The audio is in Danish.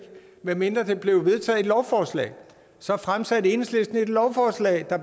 medmindre der blev vedtaget et lovforslag så fremsatte enhedslisten et lovforslag der